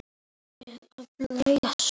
Þau eru valin fyrir svæðið.